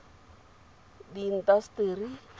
diintaseteri